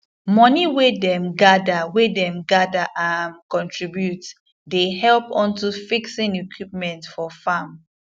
moni wey dem gather wey dem gather um contribute dey help unto fixing equipment for farm